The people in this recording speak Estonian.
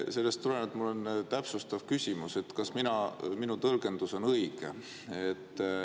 Sellest tulenevalt mul on täpsustav küsimus, kas minu tõlgendus on õige.